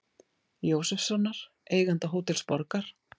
Jósefssonar, eiganda Hótels Borgar.